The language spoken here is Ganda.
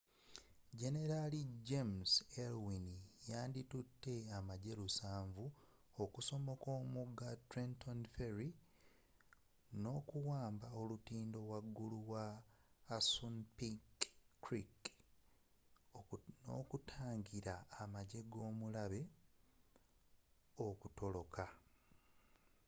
generali james ewing yandi tutte abajaasi lusanvu 700 okusomoka omugga trenton ferry wamba olutindo waggulu wa assunpink creek n’okutangira amajje g’omulabe okutoloka